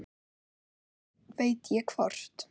Ekki veit ég hvort